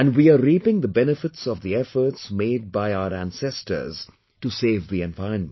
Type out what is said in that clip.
And we are reaping the benefits of the efforts made by our ancestors to save the environment